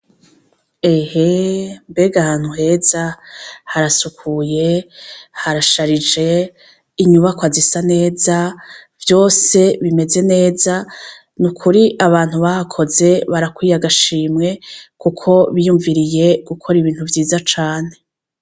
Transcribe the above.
Ehe mbega hantu heza harasukuye harasharije inyubako azisa neza vyose bimeze neza ni ukuri abantu bahakoze barakwiye agashimwe, kuko biyumviriye gukora ibintu vyiza cane.